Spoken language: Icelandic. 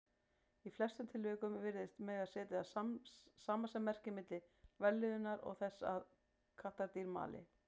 Í flestum tilvikum virðist mega setja samasemmerki milli vellíðunar og þess að kattardýr mali.